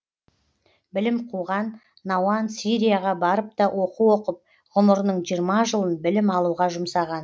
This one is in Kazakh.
білім қуған науан сирияға барып та оқу оқып ғұмырының жиырма жылын білім алуға жұмсаған